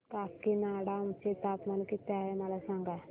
आज काकीनाडा चे तापमान किती आहे मला सांगा